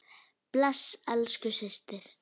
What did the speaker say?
Bless elsku systir.